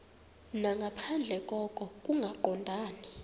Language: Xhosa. nangaphandle koko kungaqondani